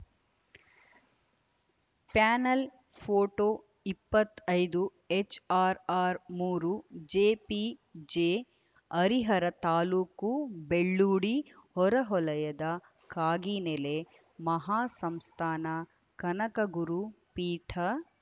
panel photo ಇಪ್ಪತ್ತೈ ದು HRR ಮೂರು ಜೆಪಿಜಿ ಹರಿಹರ ತಾಲುಕು ಬೆಳ್ಳೂಡಿ ಹೊರವಲಯದ ಕಾಗಿನೆಲೆ ಮಹಾಸಂಸ್ಥಾನ ಕನಕಗುರು ಪೀಠ